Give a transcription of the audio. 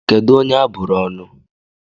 Kedụ onye a bụrụ ọnụ?